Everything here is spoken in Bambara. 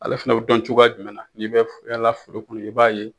Ale fana bɛ dɔn cogoya jumɛn na n'i bɛ yala furu kɔnɔ i b'a ye.